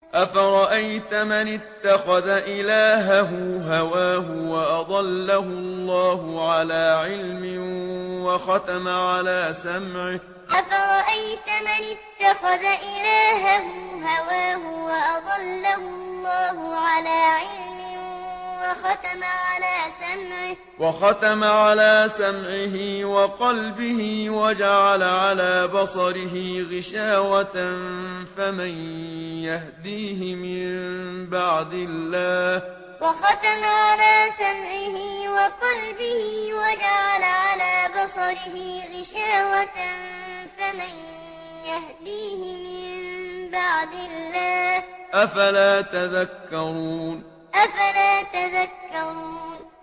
أَفَرَأَيْتَ مَنِ اتَّخَذَ إِلَٰهَهُ هَوَاهُ وَأَضَلَّهُ اللَّهُ عَلَىٰ عِلْمٍ وَخَتَمَ عَلَىٰ سَمْعِهِ وَقَلْبِهِ وَجَعَلَ عَلَىٰ بَصَرِهِ غِشَاوَةً فَمَن يَهْدِيهِ مِن بَعْدِ اللَّهِ ۚ أَفَلَا تَذَكَّرُونَ أَفَرَأَيْتَ مَنِ اتَّخَذَ إِلَٰهَهُ هَوَاهُ وَأَضَلَّهُ اللَّهُ عَلَىٰ عِلْمٍ وَخَتَمَ عَلَىٰ سَمْعِهِ وَقَلْبِهِ وَجَعَلَ عَلَىٰ بَصَرِهِ غِشَاوَةً فَمَن يَهْدِيهِ مِن بَعْدِ اللَّهِ ۚ أَفَلَا تَذَكَّرُونَ